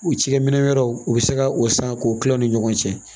U cikɛ minɛ wɛrɛw u bɛ se ka o san k'o kila u ni ɲɔgɔn cɛ